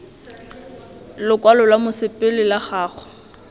lokwalo lwa mosepele la gago